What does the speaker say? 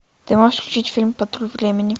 ты можешь включить фильм патруль времени